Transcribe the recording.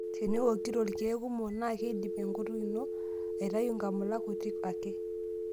Teniwokito ilkeek kumok naa keidip enkutuk ino aitayu nkamulak kuti ake.